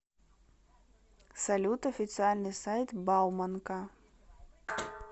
салют официальный сайт бауманка